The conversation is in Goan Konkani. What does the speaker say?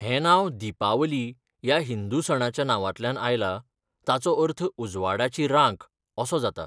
हें नांव दीपावली ह्या हिंदू सणाच्या नांवांतल्यान आयलां, ताचो अर्थ 'उजवाडाची रांक' असो जाता.